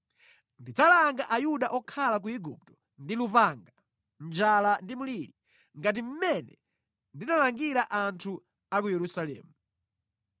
Ndidzalanga Ayuda okhala ku Igupto ndi lupanga, njala ndi mliri, ngati mmene ndinalangira anthu a ku Yerusalemu.